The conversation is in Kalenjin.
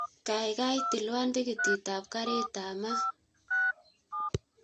Kaigaigai tilwon tikitit ap karit ap maat